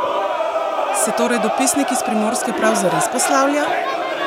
Se torej dopisnik iz Primorske prav zares poslavlja?